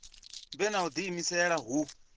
vhe na u diimisela hu